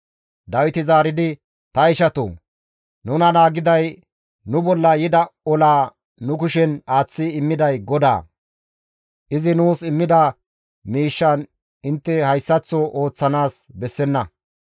Dawiti zaaridi, «Ta ishatoo! Nuna naagiday, nu bolla yida olaa nu kushen aaththi immiday GODAA; izi nuus immida miishshan intte hayssaththo ooththanaas bessenna.